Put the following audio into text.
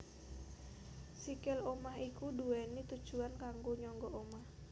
Sikil omah iku duwéni tujuwan kanggo nyangga omah